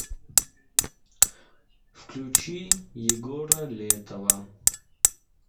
включи егора летова